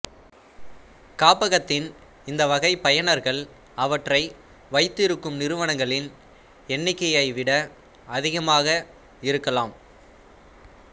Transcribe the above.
காப்பகத்தின் இந்த வகை பயனர்கள் அவற்றை வைத்திருக்கும் நிறுவனங்களின் எண்ணிக்கையைவிட அதிகமாக இருக்கலாம்